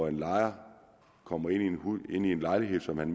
en lejer kommer ind i en lejlighed som han